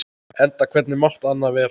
Enda hvernig mátti annað vera?